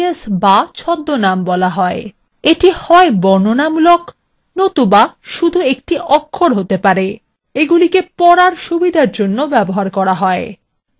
এগুলিকে alias be ছদ্মনাম বলা হয় এটি হয় বর্ণনামূলক নতুবা শুধু একটি অক্ষর হতে পারে এগুলিকে পড়ার সুবিধার জন্য ব্যবহার করা হয়